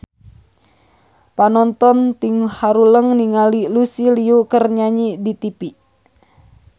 Panonton ting haruleng ningali Lucy Liu keur nyanyi di tipi